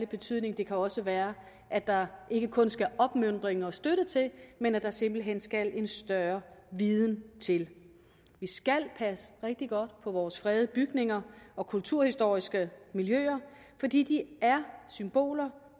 betydning det kan også være at der ikke kun skal opmuntring og støtte til men at der simpelt hen skal en større viden til vi skal passe rigtig godt på vores fredede bygninger og kulturhistoriske miljøer fordi de er symboler